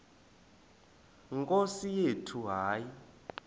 nkosi yethu hayi